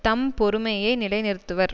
தம் பெருமையை நிலைநிறுத்துவர்